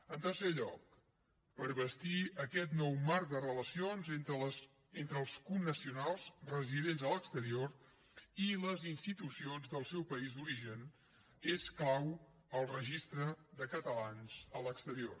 en tercer lloc per bastir aquest nou marc de relacions entre els connacionals residents a l’exterior i les institucions del seu país d’origen és clau el registre de catalans a l’exterior